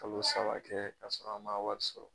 Kalo saba kɛ kasɔrɔ an ma wari sɔrɔ